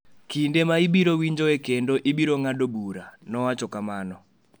kinde ma ibiro winjoe kendo ibiro ng’ado bura,” nowacho kamano.